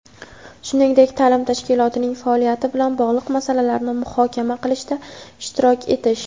shuningdek taʼlim tashkilotining faoliyati bilan bog‘liq masalalarni muhokama qilishda ishtirok etish;.